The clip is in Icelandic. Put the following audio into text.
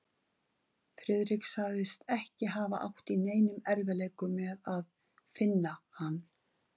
Friðrik sagðist ekki hafa átt í neinum erfiðleikum með að finna hann.